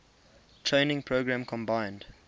training program combined